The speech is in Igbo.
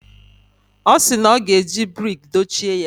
Ọ sị na ọ ga-eji brik dochie ya.